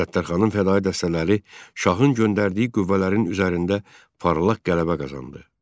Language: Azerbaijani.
Səttarxanın fədaii dəstələri şahın göndərdiyi qüvvələrin üzərində parlaq qələbə qazandı.